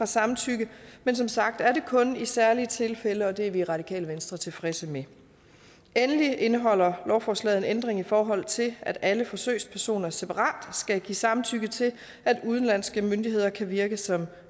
samtykke men som sagt er det kun i særlige tilfælde og det er vi i radikale venstre tilfredse med endelig indeholder lovforslaget en ændring i forhold til at alle forsøgspersoner separat skal give samtykke til at udenlandske myndigheder kan virke som